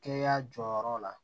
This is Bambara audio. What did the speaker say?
Kɛnɛya jɔyɔrɔ la